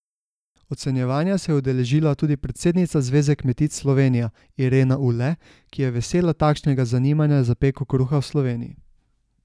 Ocenjevanja se je udeležila tudi predsednica Zveze kmetic Slovenija Irena Ule, ki je vesela takšnega zanimanja za peko kruha v Sloveniji.